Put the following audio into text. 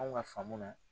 Anw ka faamu na